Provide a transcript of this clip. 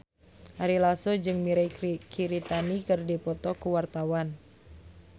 Ari Lasso jeung Mirei Kiritani keur dipoto ku wartawan